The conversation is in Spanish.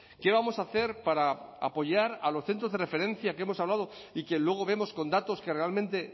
qué vamos a hacer para apoyar a los centros de referencia que hemos hablado y que luego vemos con datos que realmente